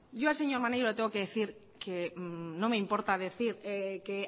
yo al señor maneiro le tengo que decir que no me importa decir que